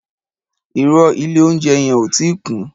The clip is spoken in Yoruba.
Ìrõ, ìlé ounjé yen ò ti kún